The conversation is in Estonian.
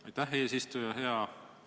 Aitäh, eesistuja!